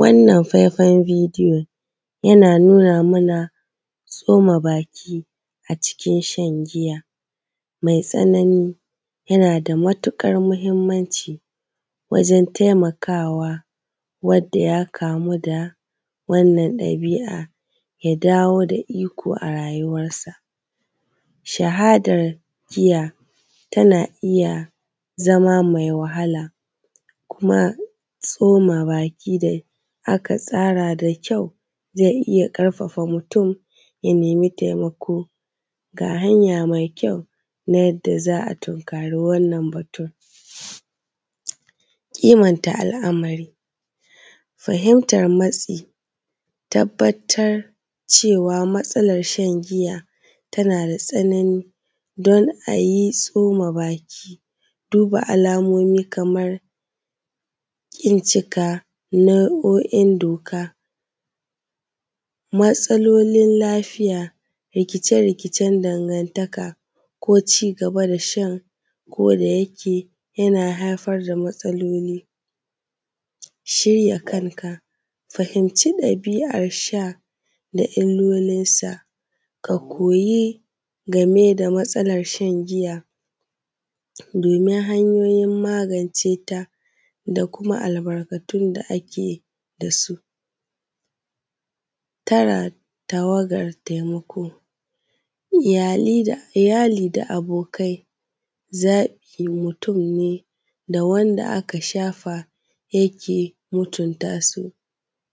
Wannan faifan bidiyon yana nuna mana tsoma baki a cikin shan giya mai tsanani yana da matuƙar mahimmanci wajen taimakawa wanda ya kamu da wannnan ɗabi’a ya dawo da iko a rayuwarsa, shahadar giya tana iya zama mai wahala kuma tsoma baki da aka tsara da kyau zai iya ƙarfafa mutum ya nema taimako ga hanya mai kyau na yadda za a tunkare wannan batun. Kimanta al’amari, fahimtan matsaloli, tabbatar cewa matsalar shan giya tana da tsanani dan a yi tsoma baki duba alamomi kaman ƙin cika nau’o’in doka matsalolin lafiya, rikicce-rikicen dangantaka ko cigaba da shan koda yake yana haifar da matsaloli. Shirya kanka, fahimci dabi’ar sha da illolinsa ka koyi game da matsalar shan giya domin hanyoyin magance ta da kuma albarkatun da ake da su, tsara tawagar taimako, iyali da abokai zaɓin mutum ne da wanda aka shafa yake mutunta su